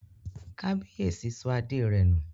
Kábíyèsí sọ adé rẹ̀ nù